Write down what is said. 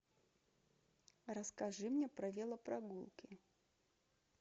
расскажи мне про велопрогулки